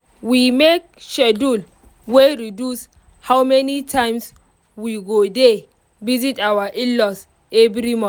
we make schedule wey reduce how many times we go dey visit our in-laws every